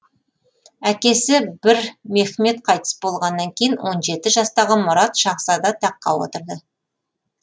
әкесі бір мехмет қайтыс болғаннан кейін он жеті жастағы мұрат шаһзада таққа отырды